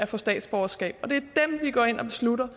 få statsborgerskab det er dem vi går ind og beslutter